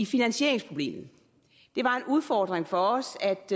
finansieringsproblem det var en udfordring for os